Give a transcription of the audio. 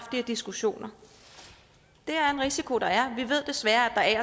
her diskussioner det er en risiko der er vi ved desværre at